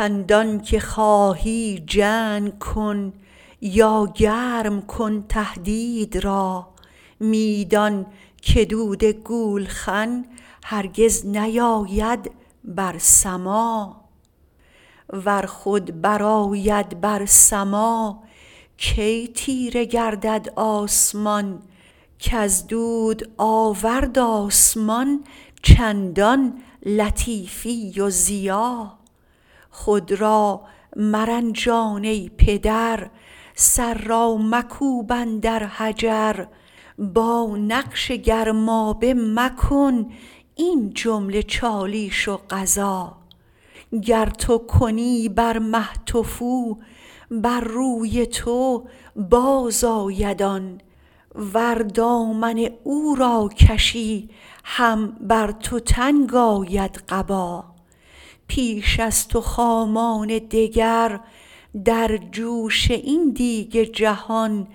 چندانکه خواهی جنگ کن یا گرم کن تهدید را می دان که دود گولخن هرگز نیاید بر سما ور خود برآید بر سما کی تیره گردد آسمان کز دود آورد آسمان چندان لطیفی و ضیا خود را مرنجان ای پدر سر را مکوب اندر حجر با نقش گرمابه مکن این جمله چالیش و غزا گر تو کنی بر مه تفو بر روی تو بازآید آن ور دامن او را کشی هم بر تو تنگ آید قبا پیش از تو خامان دگر در جوش این دیگ جهان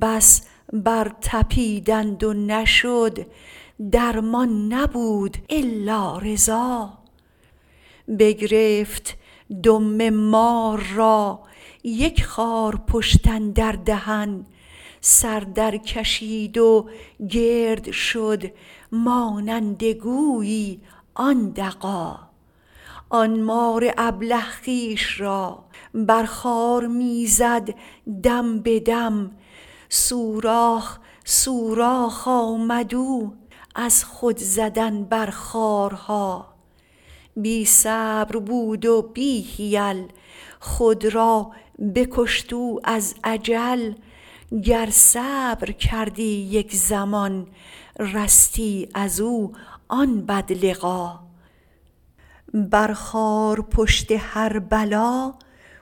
بس برطپیدند و نشد درمان نبود الا رضا بگرفت دم مار را یک خارپشت اندر دهن سر درکشید و گرد شد مانند گویی آن دغا آن مار ابله خویش را بر خار می زد دم به دم سوراخ سوراخ آمد او از خود زدن بر خارها بی صبر بود و بی حیل خود را بکشت او از عجل گر صبر کردی یک زمان رستی از او آن بدلقا بر خارپشت هر بلا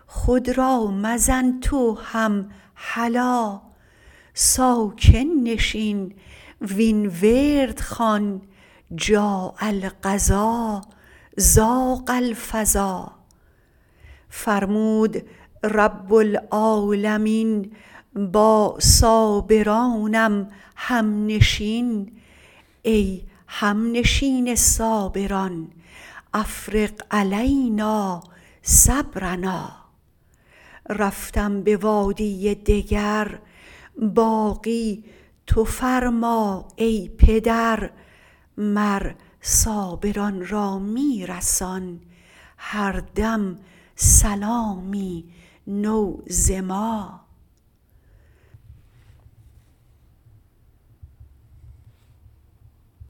خود را مزن تو هم هلا ساکن نشین وین ورد خوان جاء القضا ضاق الفضا فرمود رب العالمین با صابرانم همنشین ای همنشین صابران افرغ علینا صبرنا رفتم به وادی دگر باقی تو فرما ای پدر مر صابران را می رسان هر دم سلامی نو ز ما